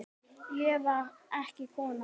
Ég var ekki kona!